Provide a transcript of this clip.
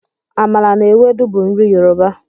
Amala na ewedu bụ nri Yoruba.